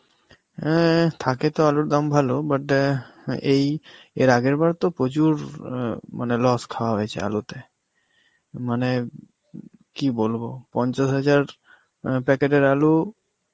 অ্যাঁ থাকে তো আলুর দাম ভালো বটে, আ এই এর আগের বারও তো প্রচুর আ মানে loss খাওয়া হয়েছে আলুতে. মানে কি বলবো পঞ্চাশ হাজার আঁ packet এর আলু